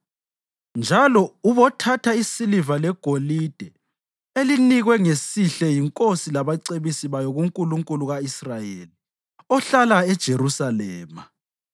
Njalo ubothatha isiliva legolide elinikwe ngesihle yinkosi labacebisi bayo kuNkulunkulu ka-Israyeli, ohlala eJerusalema,